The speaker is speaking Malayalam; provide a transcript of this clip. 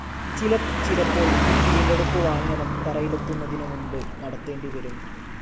ചിലപ്പോൾ ഈ വീണ്ടെടുപ്പ് വാഹനം തറയിലെത്തുന്നതിനു മുൻപ് നടത്തേണ്ടിവരും.